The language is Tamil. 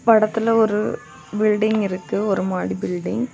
படத்துல ஒரு பில்டிங் இருக்கு ஒரு மாடி பில்டிங் .